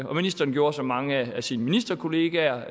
og ministeren gjorde som mange af sine ministerkolleger